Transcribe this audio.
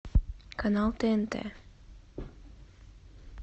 канал тнт